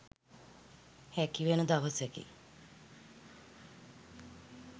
හැකිවන දවසකි.